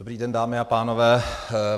Dobrý den, dámy a pánové.